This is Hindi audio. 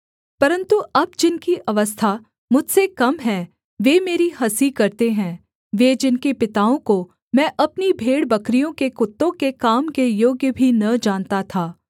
परन्तु अब जिनकी अवस्था मुझसे कम है वे मेरी हँसी करते हैं वे जिनके पिताओं को मैं अपनी भेड़बकरियों के कुत्तों के काम के योग्य भी न जानता था